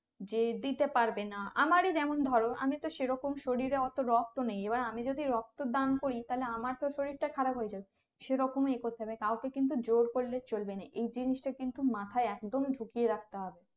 যে দিতে পারবে না আমারি যেমন ধরো আমি তো সে রকম শরীরে অত রক্ত নেই এবার আমি যদি রক্ত দেন করি তাহলে আমার তো শরীরটা খারাপ হয়ে যাবে সে রকম এ করতে হবে কাউকে কিন্তু জোর করে নিলে চলবে নে এই জিনিসটা কিন্তু মাথায় একদমই ঢুকিয়ে রাখতে হবে